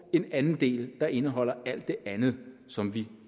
og en anden del der indeholder alt det andet som vi